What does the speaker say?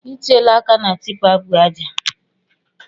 I tiela áká na tipa bu ájá